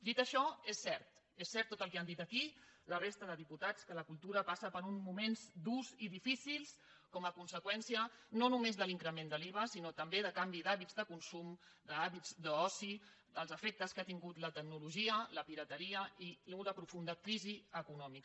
dit això és cert és cert tot el que han dit aquí la resta de diputats que la cultura passa per uns moments durs i difícils com a conseqüència no només de l’increment de l’iva sinó també de canvi d’hàbits de consum d’hàbits d’oci dels efectes que ha tingut la tecnologia la pirateria i una profunda crisi econòmica